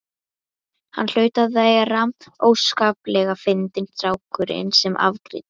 Hann hlaut að vera óskaplega fyndinn strákurinn sem afgreiddi.